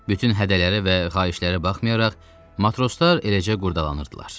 Bütün hədələrə və xahişlərə baxmayaraq, matroslar eləcə qurdalanırdılar.